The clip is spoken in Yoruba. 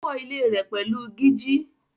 Ó kọ́ ilé rẹ̀ pẹ̀lú gíjí.